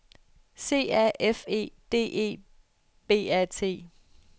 C A F E D E B A T